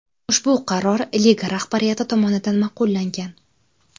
Ushbu qaror liga rahbariyati tomonidan ma’qullangan.